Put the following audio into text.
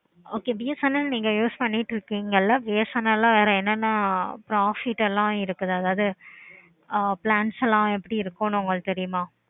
okay BSNL நீங்க use பண்ணிக்கிட்டு இருக்கீங்களா BSNL ல வேற என்ன profit எல்லாம் இருக்குது அதாவது ஆஹ் plans எல்லாம் எப்படி இருக்கு உங்களுக்கு தெரியுமா